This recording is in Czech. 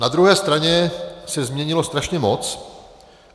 Na druhé straně se změnilo strašně moc.